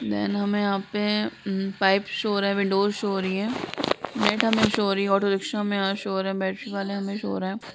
Then हमें यहाँ पे पाइप शो हो रहा है | विन्डोज शो हो रही है | डेट शो हो रही है | ऑटो रिक्शा शो हो रहा है। बैट्री वाले शो हो रहे हैं।